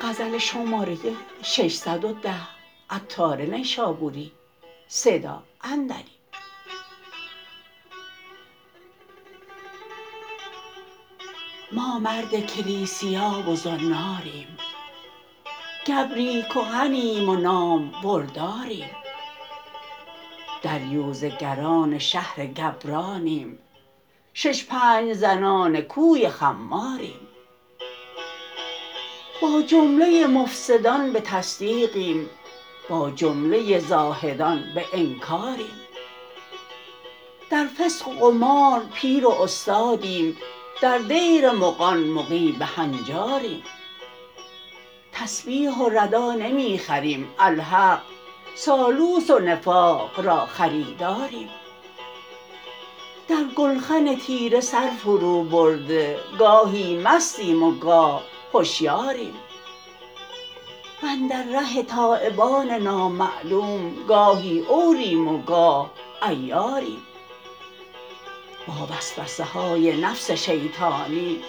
ما مرد کلیسیا و زناریم گبری کهنیم و نام برداریم دریوزه گران شهر گبرانیم شش پنج زنان کوی خماریم با جمله مفسدان به تصدیقیم با جمله زاهدان به انکاریم در فسق و قمار پیر و استادیم در دیر مغان مغی به هنجاریم تسبیح و ردا نمی خریم الحق سالوس و نفاق را خریداریم در گلخن تیره سر فرو برده گاهی مستیم و گاه هشیاریم واندر ره تایبان نامعلوم گاهی عوریم و گاه عیاریم با وسوسه های نفس شیطانی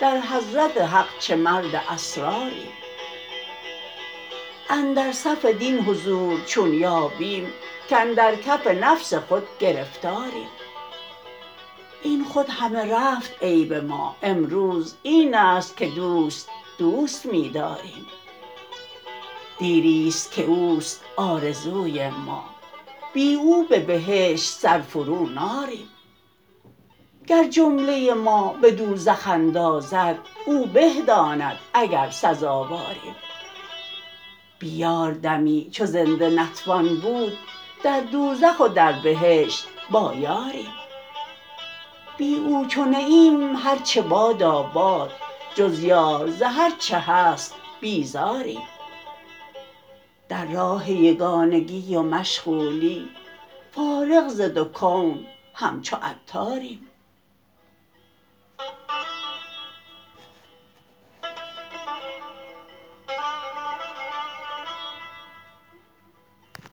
در حضرت حق چه مرد اسراریم اندر صف دین حضور چون یابیم کاندر کف نفس خود گرفتاریم این خود همه رفت عیب ما امروز این است که دوست دوست می داریم دیری است که اوست آرزوی ما بی او به بهشت سر فرو ناریم گر جمله ما به دوزخ اندازد او به داند اگر سزاواریم بی یار دمی چو زنده نتوان بود در دوزخ و در بهشت با یاریم بی او چو نه ایم هرچه باداباد جز یار ز هرچه هست بیزاریم در راه یگانگی و مشغولی فارغ ز دو کون همچو عطاریم